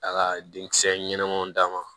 A ka denkisɛ ɲɛnɛmanw d'a ma